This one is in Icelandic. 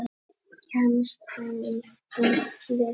Kemst hann í þitt lið?